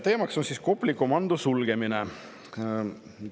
Teemaks on Kopli komando sulgemine.